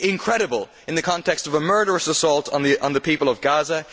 incredible in the context of a murderous assault on the people of Gaza.